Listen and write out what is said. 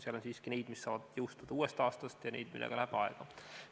Seal on siiski neid, mis saavad jõustuda uuest aastast, ja neid, millega läheb aega.